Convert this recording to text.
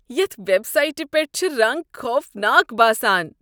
یتھ ویب سایٹہ پیٹھ چھِ رنگ خوفناک باسان ۔